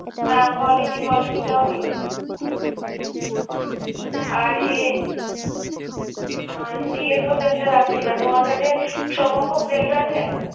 হ্যাঁ volini volini টাও দিও। আর এ উম DFO gel টা রাখছি না। তোমার কাছে thrombophob gel টা আছে?